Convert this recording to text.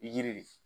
Yiri